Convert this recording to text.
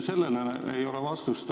Sellele ei ole vastust.